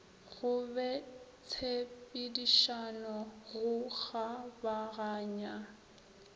go be tshepedišano go kgabaganya